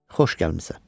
Xoş gəlmisən.